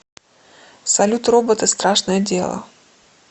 салют роботы страшное дело